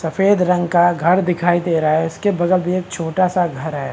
सफेद रंग का घर दिखाई दे रहा है उसके बगल भी एक छोटा सा घर है।